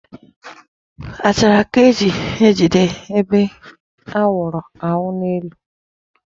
Achara ka e ji ejide ebe a wụrụ awu n'elu.